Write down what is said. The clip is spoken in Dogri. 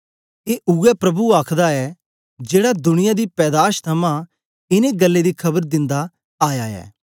ए उवै प्रभु आखदा ऐ जेड़ा दुनिया दी पैदाश थमां इनें गल्लें दी खबर दिन्दा आया ऐ